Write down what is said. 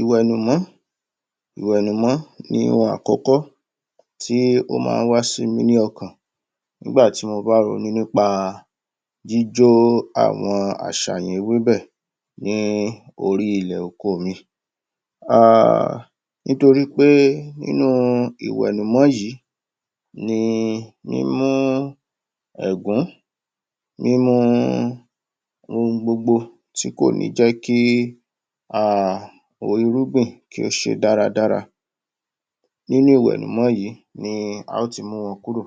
ìwẹ̀nùmọ́ ìwẹ̀nùmọ́ ni ohun àkọ́kọ́ tí ó máa ń wá sí mi ní ọkàn nígbàtí mo ba ronú nípa jíjó àwọn aṣàméwébẹ̀ ní orí ilẹ̀ oko mi um nítorí pé nínú ìwẹ̀nùmọ́ yìí, ni mímú ẹ̀gún mímú ohun gbogbo tí kò ní jẹ́ kí um o irúgbìn kí ó ṣe dáradára nínú ìwẹ̀nùmọ́ yìí ni à ó ti mú wọn kúrò